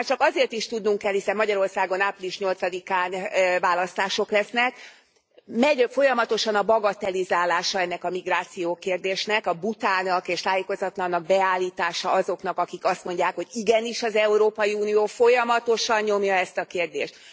Ezt már csak azért is tudnunk kell, hiszen Magyarországon április 8 án választások lesznek, megy folyamatosan a bagatellizálása ennek a migrációkérdésnek, a butának és tájékozatlannak beállítása azoknak, akik azt mondják, hogy igenis az Európai Unió folyamatosan nyomja ezt a kérdést.